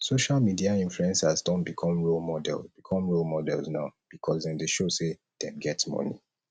social media influencers don become role become role models now because dem de show say dem get money